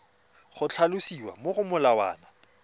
go tlhalosiwa mo go molawana